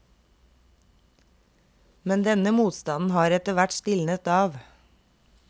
Men denne motstanden har etterhvert stilnet av.